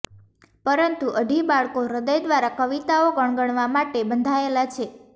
પરંતુ અઢી બાળકો હૃદય દ્વારા કવિતાઓ ગણગણવા માટે બંધાયેલા છે